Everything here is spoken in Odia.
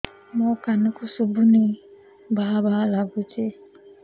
ମୋ କାନକୁ ଶୁଭୁନି ଭା ଭା ଲାଗୁଚି